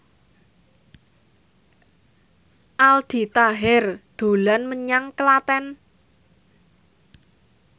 Aldi Taher dolan menyang Klaten